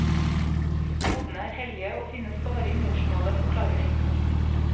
Kodene er hellige og finnes bare i morsmålet, forklarer de.